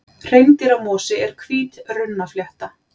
Hreindýramosi er hvít runnaflétta.